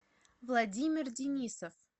владимир денисов